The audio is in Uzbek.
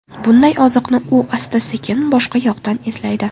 Bunday oziqni u asta-sekin boshqa yoqdan izlaydi.